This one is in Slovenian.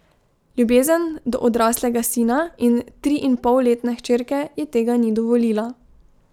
Ljubezen do odraslega sina in triinpolletne hčerke ji tega ni dovolila.